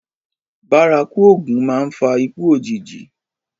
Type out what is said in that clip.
Bárakú òògùn máa ń fa ikú òjijì